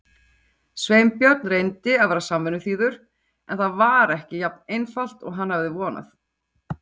Sveinbjörn reyndi að vera samvinnuþýður en það var ekki jafn einfalt og hann hafði vonað.